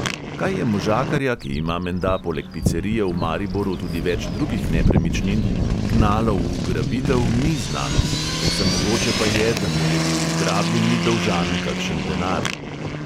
Kaj je možakarja, ki ima menda poleg picerije v mariboru tudi več drugih nepremičnin, gnalo v ugrabitev, ni znano, povsem mogoče pa je, da mu je bil ugrabljeni dolžan kakšen denar.